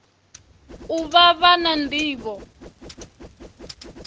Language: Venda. u vha vha na nḓivho